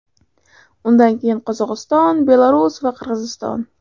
Undan keyin Qozog‘iston, Belarus va Qirg‘iziston.